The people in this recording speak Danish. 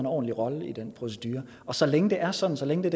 ordentlig rolle i den procedure og så længe det er sådan så længe det